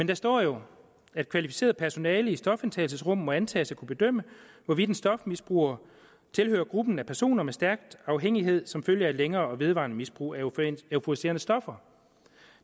der står jo at kvalificeret personale i stofindtagelsesrummene må antages at kunne bedømme hvorvidt en stofmisbruger tilhører gruppen af personer med stærk afhængighed som følge af et længere og vedvarende misbrug af euforiserende stoffer